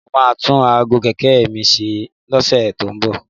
Mo máa tún aago kẹ̀kẹ́ mi ṣe lọ́sẹ̀ tó ń bọ̀